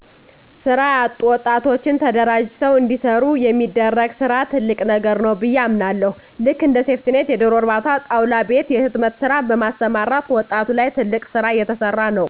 ስራ ያጡ ወጣቶችን ተደራጅተዉ እንዲሰሩ የሚደረግ ስራ ትልቅ ነገር ነዉ ብየ አምናለሁ ልክ እንደ ሴፍቲኔት የደሮ እርባታ ጣዉላ ቤት የህትመት ስራ በማሰማራት ዉጣቱ ላይ ትልቅ ስራ እየተሰራ ነዉ